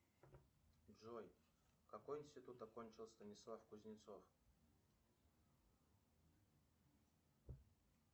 джой какой институт окончил станислав кузнецов